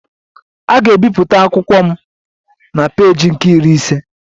A ga-ebipụta akụkọ m na peeji nke Iri ise